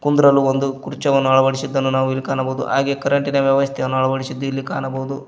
ಒಂದ್ರಲ್ಲೂ ಒಂದು ಕುರ್ಚಿವನ್ನು ಅಳವಡಿಸಿದ್ದನ್ನು ನಾವಿಲ್ಲಿ ಕಾಣಬಹುದು ಹಾಗೆ ಕರೆಂಟ್ ಇನ ವ್ಯವಸ್ಥೆಯನ್ನು ಅಳವಡಿಸಿದ್ದನ್ನು ಇಲ್ಲಿ ಕಾಣಬಹುದು.